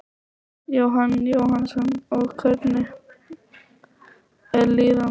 Jóhann Jóhannsson: Og hvernig er líðan barnsins?